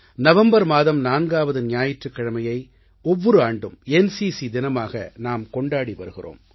November மாதம் நான்காவது ஞாயிற்றுக்கிழமையை ஒவ்வொரு ஆண்டும் என்சிசி தினமாக நாம் கொண்டாடி வருகிறோம்